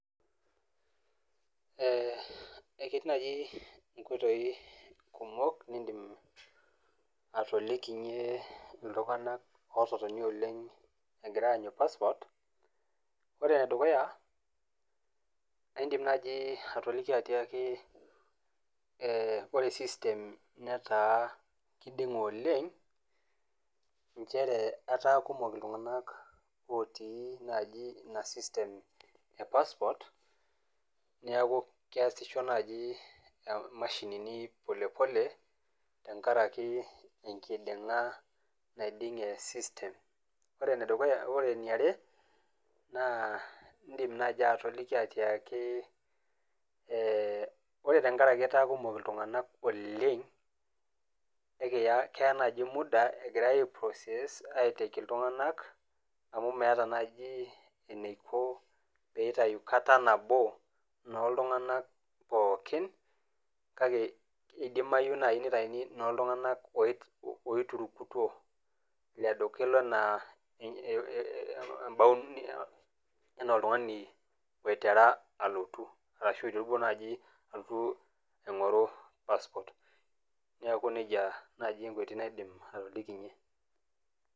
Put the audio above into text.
Eketii naaji inkoitoi kumok nindim atolikinye iltung'ana ototonia oleng' egira aanyu passport. Ore ene dukuya, indim naaji atoliki atiaki, ore system netaa eiding'e oleng', nchere etaa iltung'na kumok naaji otii ina system e passport, neaku keasisho naaji imashinini polepole, enkaraki enkiding'a naiding'e system. Ore ene are naa indim naaji atoliki atiaki , ore tenkaraki etaa iltung'anak kumok oleng,' naa keyaa naaji muda egira aiprocess aitaki iltung'ana, amu meata naaji eneiko pee eitayu kata nabo nooltung'anak pookin, kake eidimayu naaji neitayuni noo iltung'anak oiturukutuo elo naa anaa oltung'ani oitera alotu arashu eiterua naaji alotu aing'oru passport, neaku neija naaji enkoitoi naidim atolikinye.